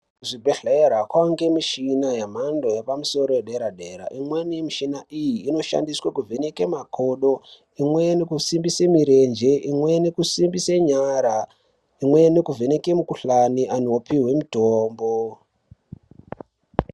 Kuzvibhedhlera kwaunge mishina yemhando yepamusoro yedera dera. Imweni mishina iyi inoshandiswe kuvheneke makodo, imweni kusimbise mirenje, imweni kusimbise nyara, imweni kuvheneke mukuhlani anhu opiwe mitombo.